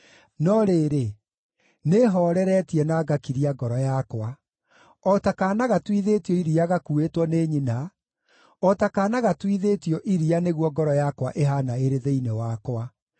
No rĩrĩ, nĩhooreretie na ngakiria ngoro yakwa; o ta kaana gatuithĩtio iria gakuuĩtwo nĩ nyina, o ta kaana gatuithĩtio iria nĩguo ngoro yakwa ĩhaana ĩrĩ thĩinĩ wakwa.